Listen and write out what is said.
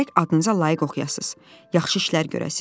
Gərək adınıza layiq oxuyasız, yaxşı işlər görəsiz.